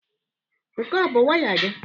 Nke a ọ bụ waya gị?